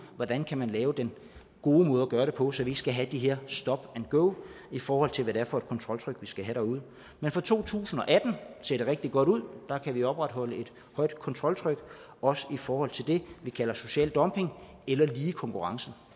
hvordan kan man lave den gode måde at gøre det på så vi ikke skal have det her stop and go i forhold til hvad det er for et kontroltryk vi skal have derude men for to tusind og atten ser det rigtig godt ud der kan vi opretholde et højt kontroltryk også i forhold til det vi kalder social dumping eller lige konkurrence